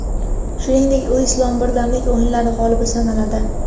Shuningdek, u Islom birdamlik o‘yinlari g‘olibi sanaladi.